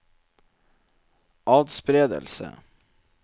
atspredelse